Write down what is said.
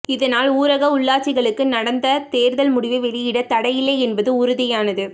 இதனால் ஊரக உள்ளாட்சிகளுக்கு நடந்த தேர்தல் முடிவை வெளியிட தடையில்லை என்பது உறுதியானது